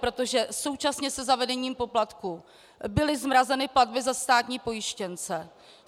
Protože současně se zavedením poplatků byly zmrazeny platby za státní pojištěnce.